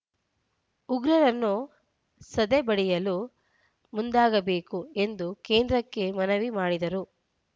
ಉಗ್ರರನ್ನು ಸದೆಬಡಿಯಲು ಮುಂದಾಗಬೇಕು ಎಂದು ಕೇಂದ್ರಕ್ಕೆ ಮನವಿ ಮಾಡಿದರು